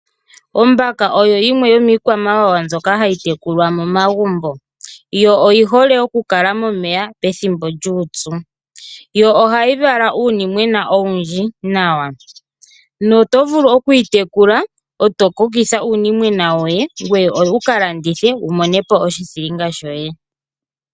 Ombaka oyo yimwe yomiikwamawawa mbyoka hayi tekulwa momagumbo. Oyi hole okukala momeya pethimbo lyuupyu. Ohayi vala uunimwena owundji nawa noto vulu okuyi tekula e to kokitha uunimwena woye ngoye wu ka landithe wu mone po oshithilinga shoye.